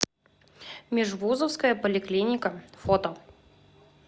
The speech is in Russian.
межвузовская поликлиника фото